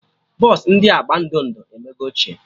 Bọsụ ndị agba ndo ndo emego ochie